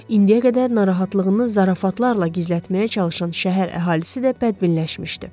İndiyə qədər narahatlığını zarafatlarla gizlətməyə çalışan şəhər əhalisi də bədbinləşmişdi.